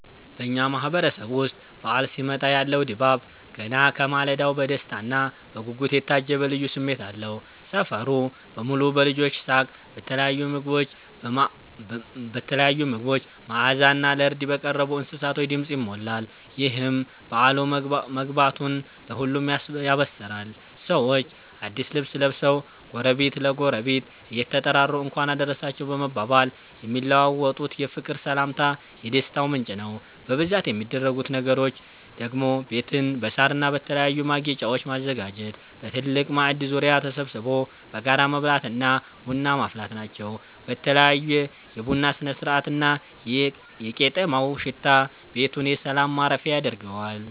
በኛ ማህበረሰብ ዉስጥ በዓል ሲመጣ ያለው ድባብ ገና ከማለዳው በደስታና በጉጉት የታጀበ ልዩ ስሜት አለው። ሰፈሩ በሙሉ በልጆች ሳቅ፤ በተለያዩ ምግቦች መዓዛና ለርድ በቀረቡ እንስሳቶች ድምፅ ይሞላል። ይህም በዓሉ መግባቱን ለሁሉም ያበስራል። ሰዎች አዲስ ልብስ ለብሰው፣ ጎረቤት ለጎረቤት እየተጠራሩ "እንኳን አደረሳችሁ" በመባባል የሚለዋወጡት የፍቅር ሰላምታ የደስታው ምንጭ ነው። በብዛት የሚደረጉት ነገሮች ደግሞ ቤትን በሳርና በተለያዩ ማጌጫወች ማዘጋጀት፣ በትልቅ ማዕድ ዙሪያ ተሰብስቦ በጋራ መብላትና ቡና ማፍላት ናቸው። በተለይ የቡናው ስነ-ስርዓትና የቄጤማው ሽታ ቤቱን የሰላም ማረፊያ ያደርገዋል።